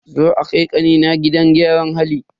Za a kai kanina gidan gyaran hali.